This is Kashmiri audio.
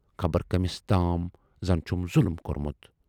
خبر کٔمِس تام زَن چھُم ظُلُم کورمُت۔